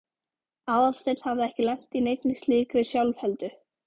Aðalsteinn hafði ekki lent í neinni slíkri sjálfheldu.